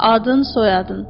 Adın, soyadın?